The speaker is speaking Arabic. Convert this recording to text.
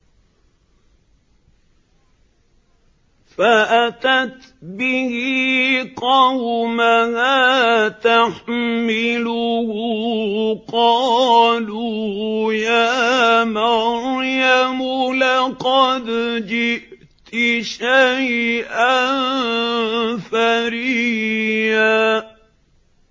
فَأَتَتْ بِهِ قَوْمَهَا تَحْمِلُهُ ۖ قَالُوا يَا مَرْيَمُ لَقَدْ جِئْتِ شَيْئًا فَرِيًّا